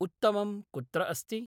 उत्तमं कुत्र अस्ति